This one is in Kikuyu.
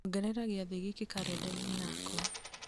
ongerera gĩathĩ gĩkĩ karenda-inĩ yakwa